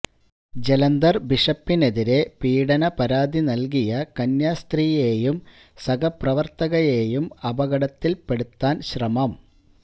ജലന്ധര് ബിഷപ്പിനെതിരെ പീഡന പരാതി നല്കിയ കന്യാസ്ത്രീയെയും സഹപ്രവര്ത്തകയെയും അപകടത്തില്പ്പെടുത്താന് ശ്രമം